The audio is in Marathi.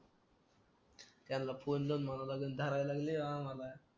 त्यांना फोन लावून म्हणावं लागेल धरायला लागले यो आम्हाला